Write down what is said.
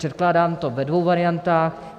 Předkládám to ve dvou variantách.